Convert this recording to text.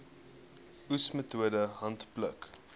oes metode handpluk